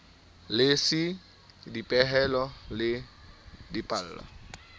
le c dipehelo le dipallo